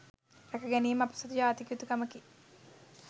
රැක ගැනීම අප සතු ජාතික යුතුකමකි.